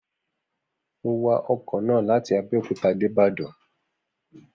Mo wa ọkọ̀ náà láti Abẹ́òkúta dé Ìbàdàn